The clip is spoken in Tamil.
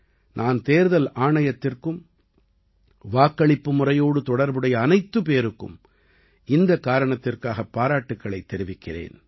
நான் தேர்தல் ஆணையத்திற்கும் வாக்களிப்பு முறையோடு தொடர்புடைய அனைத்து பேருக்கும் இந்தக் காரணத்திற்காக பாராட்டுக்களைத் தெரிவிக்கிறேன்